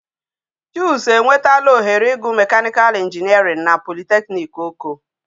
Chuks enwetala oghere igu mechanical engineering na polytechnic oko